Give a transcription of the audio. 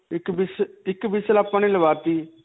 ਇੱਕ . ਇੱਕ whistle ਆਪਾਂ ਨੇ ਲਵਾ 'ਤੀ.